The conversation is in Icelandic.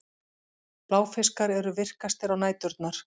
Bláfiskar eru virkastir á næturnar.